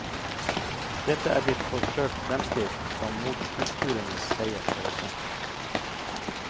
Dette er blitt forsøkt fremstilt som motkulturenes seier over sentrum.